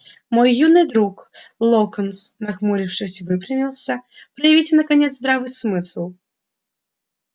мой юный друг локонс нахмурившись выпрямился проявите наконец здравый смысл